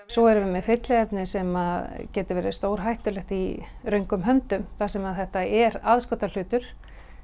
svo erum við með fylliefni sem getur verið stórhættulegt í röngum höndum þar sem þetta er aðskotahlutur